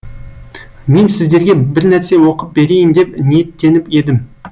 мен сіздерге бірнәрсе оқып берейін деп ниеттеніп едім